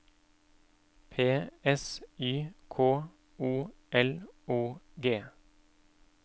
P S Y K O L O G